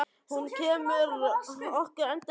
Og hún kemur okkur endalaust á óvart.